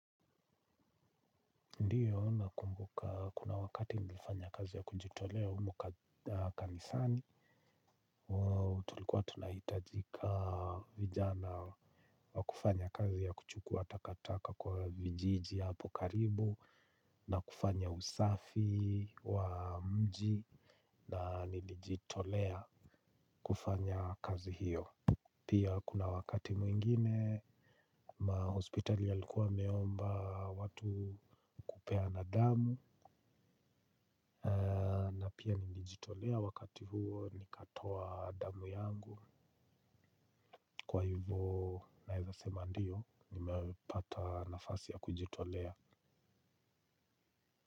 Ndio nakumbuka kuna wakati nilifanya kazi ya kujitolea kanisani tulikwa tunaitajika vijana wa kufanya kazi ya kuchukua takataka kwa mijiji apo karibu na kufanya usafi wa mji na nilijitolea kufanya kazi hiyo. Pia kuna wakati mwingine ma hospital yalikuwa meomba watu kupeana damu. Na pia nilijitolea wakati huo nikatoa damu yangu. Kwa hivyo naeza sema ndiyo nimepata nafasi ya kujitolea.